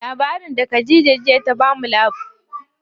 Labarin da Khadija ta bamu jiya tatsuniya addini ce.